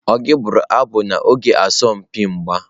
Ọ gị bụrụ abụ n'oge asọmpi mgba?